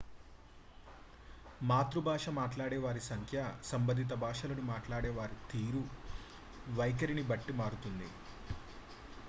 మాతృభాష మాట్లాడే వారి సంఖ్య సంబంధిత భాషలను వారు మాట్లాడే తీరు వైఖరిని బట్టి మారుతూ ఉంటుంది